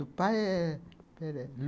Do pai é... Espera aí.